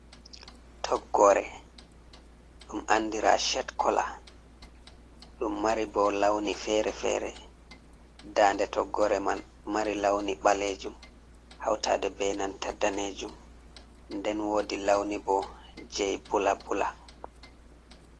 Toggore dum andira shet kola. Ɗumɗo mari bo launi fere-fere dande toggore man mari launi ɓalejum hautade benanta danejum, nden wodi launi bo jei bula bula.